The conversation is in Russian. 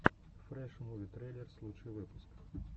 фрэш муви трейлерс лучший выпуск